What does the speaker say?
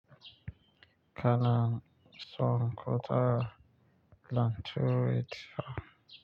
Kana song kota lantui tsam.